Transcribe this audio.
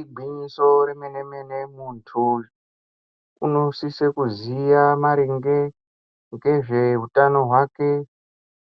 Igwinyiso remenemene muntu unosise kuziya maringe ngezveutano hwake